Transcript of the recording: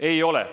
Ei ole.